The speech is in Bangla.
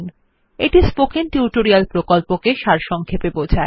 এটি স্পোকেন টিউটোরিয়াল প্রকল্পটি সারসংক্ষেপে বোঝায়